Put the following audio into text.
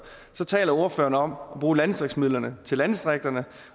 taler ordføreren om at bruge landdistriktsmidlerne i landdistrikterne